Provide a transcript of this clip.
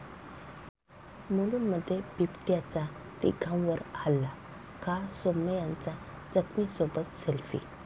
मुलुंडमध्ये बिबट्याचा तिघांवर हल्ला, खा. सोमय्यांचा जखमीसोबत सेल्फी!